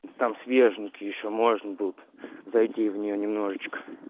там свеженький ещё можно будет зайти в неё немножечко